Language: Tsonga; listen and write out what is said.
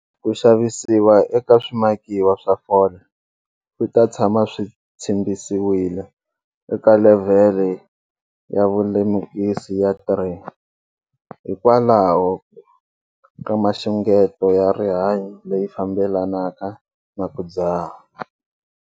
Ku xavisiwa ka swimakiwa swa fole swi ta tshama swi tshimbisiwile eka levhele ya vulemukisi ya 3, hikwalaho ka mixungeto ya rihanyo leyi fambelanaka na ku dzaha.